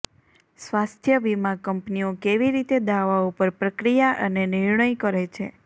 સ્વાસ્થ્ય વીમા કંપનીઓ કેવી રીતે દાવાઓ પર પ્રક્રિયા અને નિર્ણય કરે છે